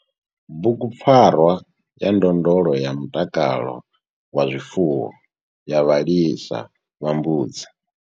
Bugu PFARWA YA NDONDOLO YA MUTAKALO WA ZWIFUWO YA VHALISA VHA MBUDZI.